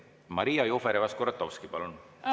Maria Jufereva-Skuratovski, palun!